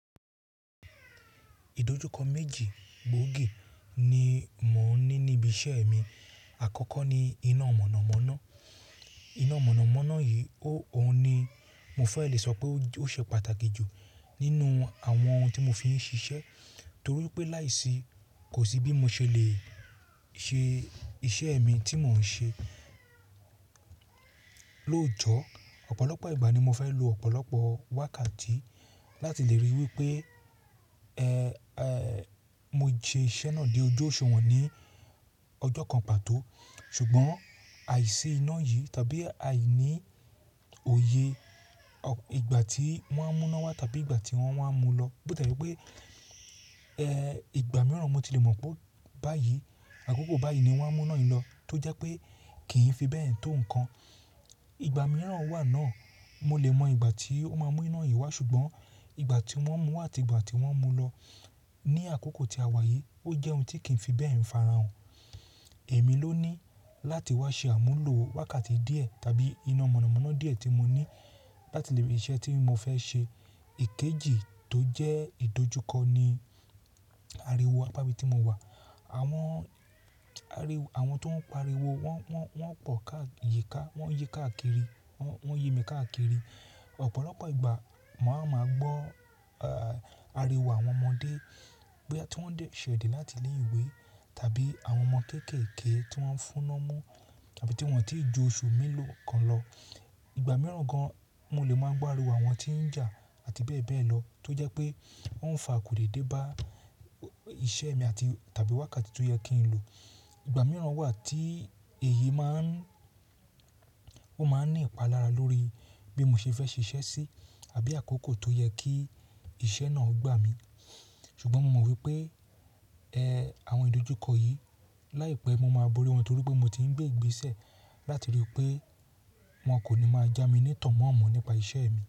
Ìdojúkọ méjì gbòógì ni mò ń ní níbi iṣẹ́ mi. Àkọ́kọ́ ni iná mọ̀nàmọ́ná. Iná mọ̀nàmọ́ná yìí, ó òun ni mo fẹ́ lè sọ pé ó ṣe pàtàkì jù nínú àwọn ohun tí mo fi ń ṣiṣẹ́ torí pé láìsí kò sí bí mo ṣe lè ṣe iṣẹ́ mi tí mò ń ṣe. Lójọ́ ọ̀pọ̀lọpọ̀ ìgbà ni mo fẹ́ lò ọ̀pọ̀lọpọ̀ wákàtí láti lè ríi wípé, ẹ́ ẹ́, mo ṣe iṣẹ́ náà dé ojú òṣùwọ̀n ní ọjọ́ kan pàtó. Ṣùgbọ́n àìsí iná yìí tàbí àìní òye ìgbà tí wọ́n á mú iná wá tàbí ìgbà tí wọ́n wá mú un lọ, bó ti e jẹ́ pé, ẹ́, ìgbà mìíràn mo ti lè mọ̀ pé báyìí, àkókò báyìí ni wọ́n á mú iná yìí lọ, tó jẹ́ pé kì í fi bẹ́ẹ̀ tó nǹkan. Ìgbà mìíràn wà náà mo lè mọ ìgbà tí ó máa mú iná yìí wá, ṣùgbọ́n ìgbà tí wọ́n mú àti ìgbà tí wọ́n mú lọ ní àkókò tí a wà yìí ó jẹ́ ohun tí kì í fi bẹ́ẹ̀ fàráhàn. Èmi ló ní láti wá ṣe àmúlò wákàtí díẹ̀ tàbí iná mọ̀nàmọ́ná díẹ̀ tí mo ní láti lè rí iṣẹ́ tí mo fẹ́ ṣe. Ikejì tó jẹ́ ìdojúkọ ni àríwó apá ibi tí mo wà. Àwọn àwọn tó ń pariwo wọ́n, wọ́n, wọ́n pọ̀ káà yíká, wọ́n yẹ káàkiri, wọ́n yẹ mi káàkiri. Ọ̀pọ̀lọpọ̀ ìgbà mà á máa gbọ́, a, àríwó àwọn ọmọdé bí wọ́n ṣe dé láti ilé ìwé tàbí àwọn ọmọ kéékèèké tí wọ́n ń fún ni omú tàbí tí wọ́n ò tí ì ju oṣù mélòó kan lọ. Ìgbà mìíràn gan-an mo lè máa gbá aàríwọ̀ àwọn tí ń jà àti bẹ́ẹ̀ bẹ́ẹ̀ lọ tó jẹ́ pé ó ń fa akòdédé bá iṣẹ́ mi àti tàbí wákàtí tó yẹ kí n lò. Ìgbà mìíràn wà tí èyí máa ń, ó máa ń ní ìpalára lórí bí mo ṣe fẹ́ ṣe iṣẹ́ sí tàbí àkókò tó yẹ kí iṣẹ́ náà gbà mí. Ṣùgbọ́n mo mọ̀ wípé, ẹ́, àwọn ìdojúkọ yìí láìpẹ́ mo máa borí wọn torí pé mo ti ń gbé ìgbésẹ̀ láti ríi pé wọn kò ní máa jami ní tọ̀ mọ́ àmọ̀ nípa iṣẹ́ mi.